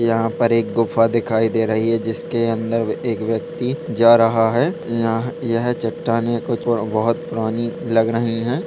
यहाँ पर एक गुफा दिखाई दे रही है जिसके अंदर एक व्यक्ति जा रहा है ये यह चट्टानें कुछ वो बहुत पुरानी लगरही है ।